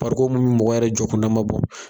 Barikon mun me mɔgɔ yɛrɛ jɔkundama bɔ